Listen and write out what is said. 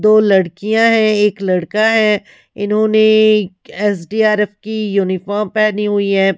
दो लड़कियां हैं एक लड़का है इन्होंने एस_डी_आर_एफ की यूनिफॉर्म पहनी हुई है।